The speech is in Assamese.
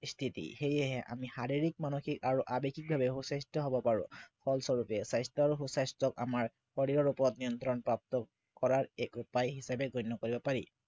স্থিতি সেয়েহে আমি শাৰীৰিক, মানসিক আৰু আৱেগিকভাৱে সু স্বাস্থ্য় হব পাৰো ফলস্বৰূপে স্বাস্থ্য় আৰু সু স্বাস্থ্য় আমাৰ শৰীৰৰ ওপৰত নিয়ন্ত্ৰণ প্ৰাপ্ত কৰাৰ এক উপায় হিচাপে গণ্য় কৰিব পাৰি